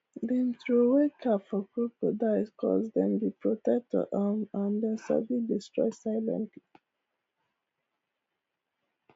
dem throway cap for crocodiles coz dem be protector um and dem sabi destroy silently